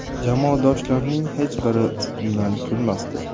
Jamoadoshlarining hech biri ustimdan kulmasdi.